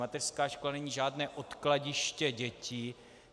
Mateřská škola není žádné odkladiště dětí.